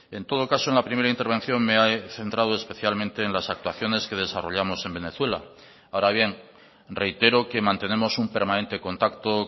en todo caso en la primera intervención me he centrado especialmente en las actuaciones que desarrollamos en venezuela ahora bien reitero que mantenemos un permanente contacto